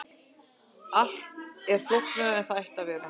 Allt er flóknara en það ætti að vera.